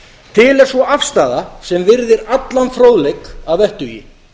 til er sú afstaða sem virðir allan fróðleik að vettugi